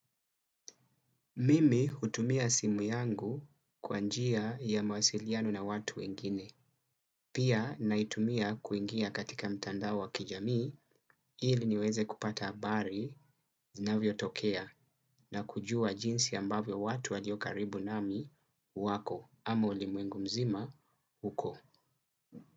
Mimi hutumia simu yangu kwa njia ya mawasiliano na watu wengine. Pia naitumia kuingia katika mtandao wa kijamii ili niweze kupata habari zinavyotokea na kujua jinsi ambavyo watu walio karibu nami wako ama ulimwengu mzima uko.